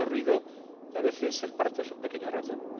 Con mucho ruido y, a veces, el parto es un pequeño ratón.